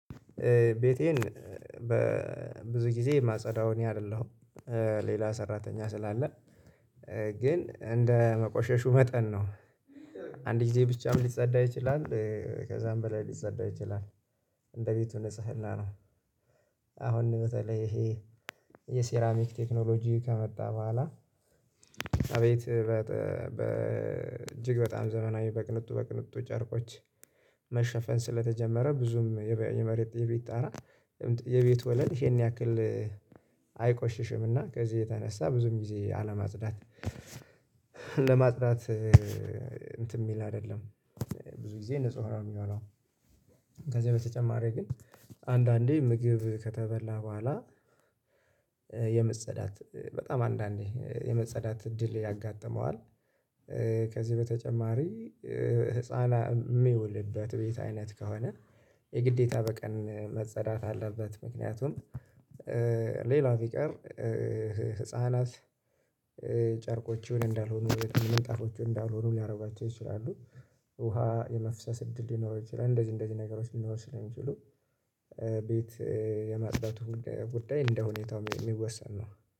ቤቴን በብዙ ጊዜ ማጸዳው እኔ አይደለሁም ሌላ ሰራተኛ ስላለ ግን እንደ መቆሸሹ መጠን ነው። አንድ ጊዜ ብቻም ሊፀዳ ይችላል ከዛም በላይ ሊፀዳ ይችላል እንደ ቤቱ ንጽህና ነው። አሁን በተለይ ይሄ የሴራሚክ ቴክኖሎጂ ከመጣ በኋላ አቤት በ በ እጅግ በጣም ዘመናዊ በቅንጡ በቅንጡ ጨርቆች መሸፈን ስለተጀመረ ብዙም የመሬት የቤት ጣራ የቤት ወለል ይሄን ያክል አይቆሽሽምና ከዚህ የተነሳ ብዙም ጊዜ አለማፅዳት ለማጽዳት እንትን የሚል አይደለም ብዙ ጊዜ ንጹህ ነው ሚሆነው ከዚህ በተጨማሪ ግን አንዳንዴ ምግብ ከተበላ በኋላ የመፀዳት በጣም አንዳንዴ የመፀዳት እድል ያጋጥመዋል። ከዚህ በተጨማሪ ህፃናት ሚውልበት ቤት አይነት ከሆነ የግዴታ በቀን መፀዳት አለበት ምክንያቱም ሌላ ቢቀር ህፃናት ጨርቆችን እንዳልሆኑ ምንጣፎችን እንዳልሆኑ ሊያደርጓቸው ይችላሉ። ውሃ የመፍሰስ እድል ሊኖረው ይችላል እንደዚህ እንደዚህ ነገሮች ሊኖር ስለሚችሉ ቤት የማፅዳቱ ጉዳይ እንደሁኔታው ሚወሰን ነው።